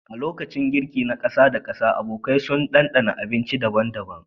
A lokacin girki na ƙasa da ƙasa, abokai sun ɗanɗana abinci daban-daban